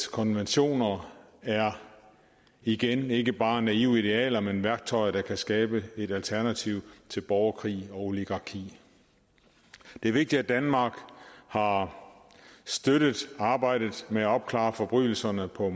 konventioner er igen ikke bare naive idealer men værktøjer der kan skabe et alternativ til borgerkrig og oligarki det er vigtigt at danmark har støttet arbejdet med at opklare forbrydelserne på